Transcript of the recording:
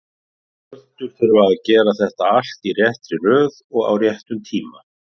Plönturnar þurfa að gera þetta allt í réttri röð og á réttum tíma.